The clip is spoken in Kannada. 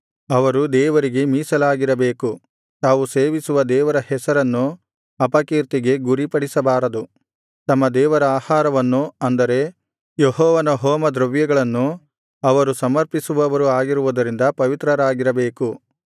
ಅವರು ದೇವರಿಗೆ ಮೀಸಲಾಗಿರಬೇಕು ತಾವು ಸೇವಿಸುವ ದೇವರ ಹೆಸರನ್ನು ಅಪಕೀರ್ತಿಗೆ ಗುರಿಪಡಿಸಬಾರದು ತಮ್ಮ ದೇವರ ಆಹಾರವನ್ನು ಅಂದರೆ ಯೆಹೋವನ ಹೋಮದ್ರವ್ಯಗಳನ್ನು ಅವರು ಸಮರ್ಪಿಸುವವರು ಆಗಿರುವುದರಿಂದ ಪವಿತ್ರರಾಗಿರಬೇಕು